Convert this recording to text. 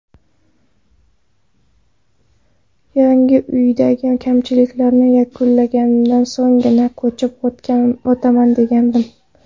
Yangi uydagi kamchiliklarni yakunlaganimdan so‘nggina, ko‘chib o‘taman degandim.